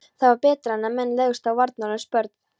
Það var betra en að menn legðust á varnarlaus börn.